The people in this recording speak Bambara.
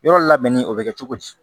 Yɔrɔ labɛnni o bɛ kɛ cogo di